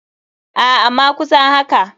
Aa ama kusan haka.